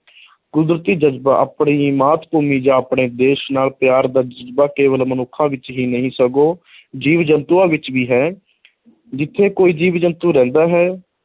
ਕੁਦਰਤੀ ਜਜ਼ਬਾ ਆਪਣੀ ਮਾਤ ਭੂਮੀ ਜਾਂ ਆਪਣੇ ਦੇਸ਼ ਨਾਲ ਪਿਆਰ ਦਾ ਜਜ਼ਬਾ ਕੇਵਲ ਮਨੁੱਖਾਂ ਵਿੱਚ ਹੀ ਨਹੀਂ ਸਗੋਂ ਜੀਵ-ਜੰਤੂਆਂ ਵਿੱਚ ਵੀ ਹੈ ਜਿੱਥੇ ਕੋਈ ਜੀਵ-ਜੰਤੂ ਰਹਿੰਦਾ ਹੈ,